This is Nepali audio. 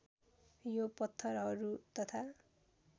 यो पत्थरहरू तथा